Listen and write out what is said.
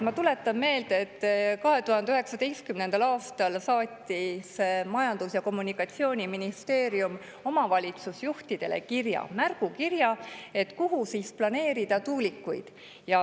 Ma tuletan meelde, et 2019. aastal saatis Majandus‑ ja Kommunikatsiooniministeerium omavalitsusjuhtidele märgukirja selle kohta, kuhu tuulikuid planeerida.